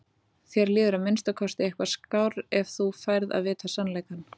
Þér líður að minnsta kosti eitthvað skár ef þú færð að vita sannleikann.